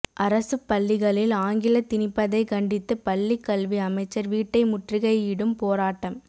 அரசுப் பள்ளிகளில் ஆங்கில திணிப்பதை கண்டித்து பள்ளிக் கல்வி அமைச்சர் வீட்டை முற்றுகையிடும் போராட்டம்